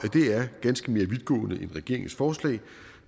vi er vidtgående end regeringens forslag